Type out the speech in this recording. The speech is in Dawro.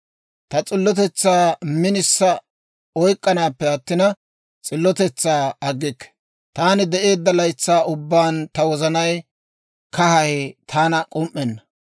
Ta s'illotetsaa minisa oyk'k'anaappe attina, s'illotetsaa aggikke; taani de'eedda laytsaa ubbaan ta wozanay kahay taana k'um"ena.